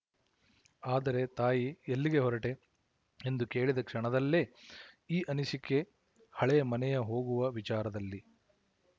ಆದರೆ ತಾಯಿ ಎಲ್ಲಿಗೆ ಹೊರಟೆ ಎಂದು ಕೇಳಿದ ಕ್ಷಣದಲ್ಲೇ ಈ ಅನಿಸಿಕೆ ಹಳೆಯ ಮನೆಯ ಹೋಗುವ ವಿಚಾರದಲ್ಲಿ